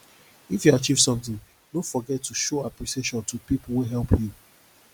if you achieve something no forget to show appreciation to people wey help you